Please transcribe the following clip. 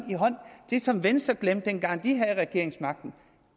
det som venstre glemte dengang de havde regeringsmagten